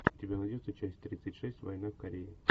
у тебя найдется часть тридцать шесть война в корее